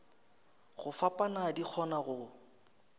go fapana di kgona go